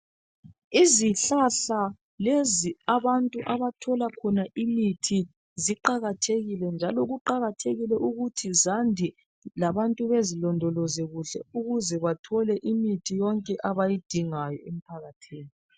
Izihlahla lezi abantu abathola khona imithi ziqakathekile njalo kuqakathekile ukuthi zande labantu bazilondoloze ukuze bathole imithi yonke abayidingayo eqakathekileyo.